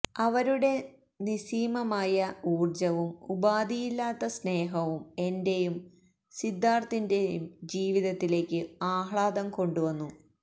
അവരുടെ നിസ്സീമമായ ഊര്ജവും ഉപാധിയില്ലാത്ത സ്നേഹവും എന്റെയും സിദ്ധാര്ഥിന്റെയും ജീവിതത്തിലേക്കു ആഹ്ലാദം കൊണ്ടുവന്നു